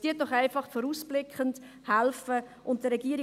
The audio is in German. Helfen Sie doch einfach vorausblickend und folgen Sie der Regierung.